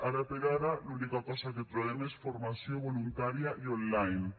ara per ara l’única cosa que trobem és formació voluntària i online